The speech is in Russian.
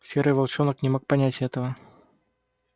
серый волчонок не мог понять этого